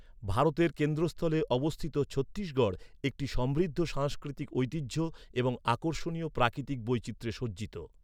ভারতের কেন্দ্রস্থলে অবস্থিত ছত্তিশগড় একটি সমৃদ্ধ সাংস্কৃতিক ঐতিহ্য এবং আকর্ষণীয় প্রাকৃতিক বৈচিত্র্যে সজ্জিত।